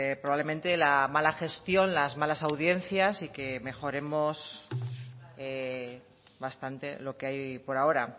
probablemente la mala gestión las malas audiencias y que mejoremos bastante lo que hay por ahora